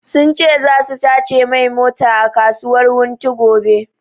Sun ce zasu sace mai mota a kasuwar wunti gobe